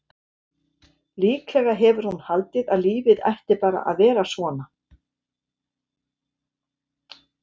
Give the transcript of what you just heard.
Líklega hefur hún haldið að lífið ætti bara að vera svona.